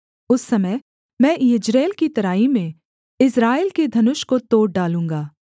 उस समय मैं यिज्रेल की तराई में इस्राएल के धनुष को तोड़ डालूँगा